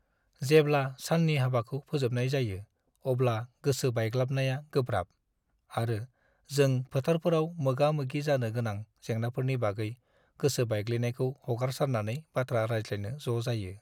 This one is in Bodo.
जेब्ला साननि हाबाखौ फोजोबनाय जायो, अब्ला गोसो बायग्लाबनाया गोब्राब, आरो जों फोथारफोराव मोगा-मोगि जानो गोनां जेंनाफोरनि बागै गोसो बायग्लिनायखौ हगारसारनानै बाथ्रा रायज्लायनो ज' जायो।